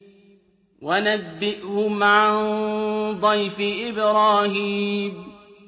وَنَبِّئْهُمْ عَن ضَيْفِ إِبْرَاهِيمَ